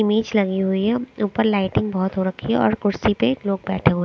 image लगी हुई हे ऊपर लाइटिंग बहोत हो रखी है और कुर्सी पर लोग बेठे हुए --